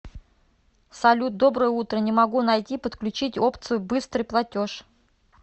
салют доброе утро не могу найти подключить опцию быстрый платеж